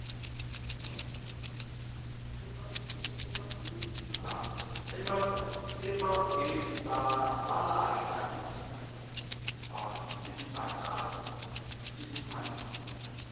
emangele balahla izimbadada